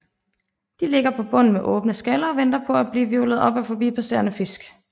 De ligger på bunden med åbne skaller og venter på at blive hvirvlet op af forbipasserende fisk